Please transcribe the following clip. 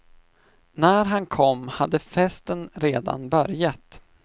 När han kom hade festen redan börjat.